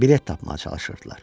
Bilet tapmağa çalışırdılar.